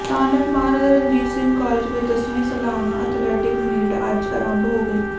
ਸਥਾਨਕ ਮਹਾਰਾਜਾ ਰਣਜੀਤ ਸਿੰਘ ਕਾਲਜ ਵਿੱਚ ਦਸਵੀਂ ਸਾਲਾਨਾ ਅਥਲੈਟਿਕ ਮੀਟ ਅੱਜ ਆਰੰਭ ਹੋ ਗਈ